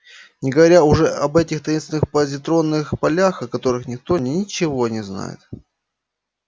не говоря уже об этих таинственных позитронных полях о которых никто ничего не знает